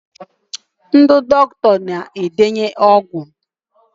ndị dọkịta na-edenye ọgwụ